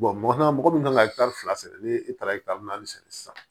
mɔgɔ min kan ka fila sɛnɛ ni e taara naani sɛnɛ sisan